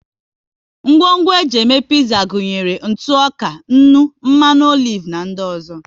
Ngwongwo e ji eme piza gụnyere ntụ ọka, nnu, mmanụ olive na di ọzọ